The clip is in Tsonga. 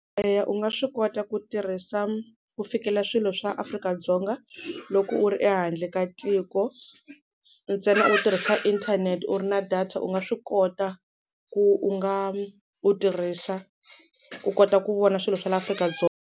Eya u nga swi kota ku tirhisa, ku fikela swilo swa Afrika-Dzonga loko u ri ehandle ka tiko, ntsena u tirhisa inthanete u ri na data u nga swi kota ku u nga u tirhisa u kota ku vona swilo swa la Afrika-Dzonga.